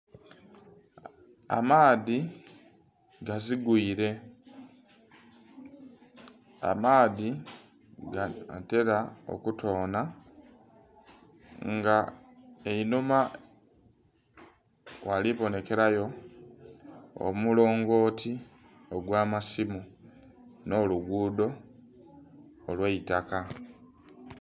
Amaadhi gazigwire, amaadhi ganhatera okutona nga einhuma ghalibonekerayo omulongoti ogw'amasimu n'olugudo olwaitaka.